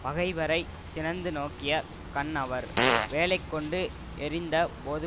பகைவரை சினந்து நோக்கியக் கண் அவர் வேலை கொண்டு எறிந்த போது